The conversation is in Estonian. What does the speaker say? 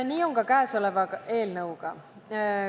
Nii on ka käesoleva eelnõuga.